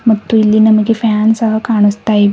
ಮತ್ತು ಇಲ್ಲಿ ನಮಗೆ ಫ್ಯಾನ್ ಸಹ ಕಾಣಿಸ್ತಾ ಇವೆ.